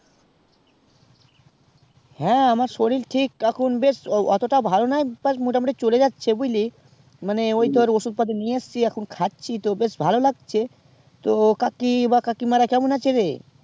হ্যাঁ আমার সরিল ঠিক এখন বেশ ওতোটা ভালো নাই তো মোটা মুটি চলে যাচ্ছে বুঝলি মানে ওই তোর ঔষধ পাতি নেয়া এসেছি এখন খাচ্ছি তো তো বেশ ভালো লাগছে তো কাকি বা কাকি মারা কেমন আছে রে